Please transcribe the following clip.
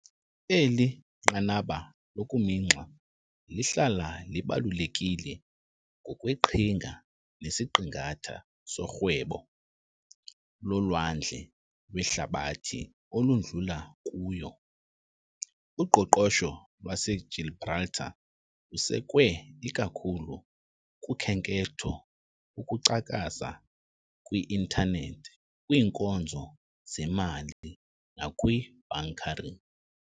Eli nqanaba lokuminxa lihlala libalulekile ngokweqhinga, nesiqingatha sorhwebo lolwandle lwehlabathi oludlula kuyo. Uqoqosho lwaseGibraltar lusekwe ikakhulu kukhenketho, ukucakaza kwi-Intanethi, kwiinkonzo zemali, nakwi -bunkering.